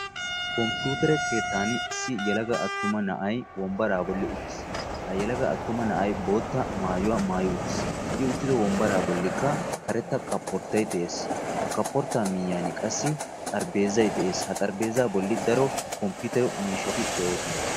Komppiitere keettan issi yelaga attuma na'ayi wombbaraa bolli uttis. Ga yelaga attuma na'ayi bootta maayuwa maayi uttis. I uttido wombbaraa bollikka karetta koborttayi de'es. Ha kaporttaa miyyiyan qassi xarapheezzayi de'es. Ha xarapheezzaa bolli daro komppiitere miishshati de'oosona.